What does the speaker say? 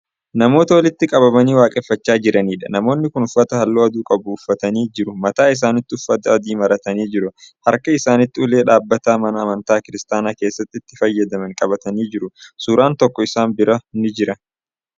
Namoota walitti qabamanii waaqeffachaa jiraniidha. namoonni kuni uffata halluu adii qabu uffatanii jiru mataa isaaniitti uffata adii maratanii jiru. halka isaaniitti ulee dhadhaabataa mana amantaa kiristaanaa keessatti itti fayyadamani qabatanii jiru. suuraan tokko isaan bira ni jira.